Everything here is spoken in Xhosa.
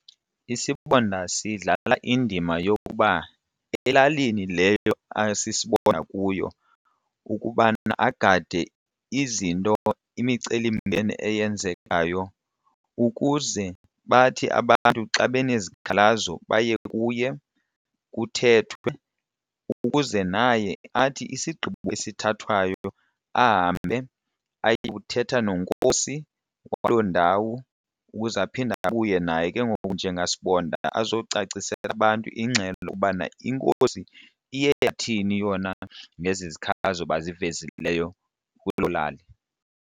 Isibonda sidlala indima yokuba elalini leyo asisibonda kuyo kukuba agade izinto imicelimngeni eyenzekayo ukuze bathi abantu xa benezikhalazo baye kuye kuthethwe ukuze naye athi isigqibo esithathwayo ahambe aye kuthetha nenkosi waloo ndawo ukuze aphinde abuye naye ke ngoku njengasibonda azocacisela abantu ingxelo lokubana inkosi iye yathini yona ngezi zikhalazo bazivezileyo kuloo lali.